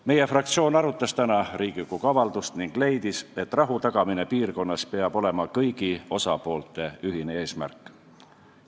Meie fraktsioon arutas täna Riigikogu avaldust ning leidis, et rahu tagamine piirkonnas peab olema kõigi osapoolte ühine eesmärk.